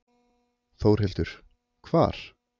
Þórhildur: Hvar?